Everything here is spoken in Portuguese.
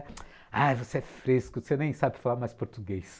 Aí você é fresco, você nem sabe falar mais português.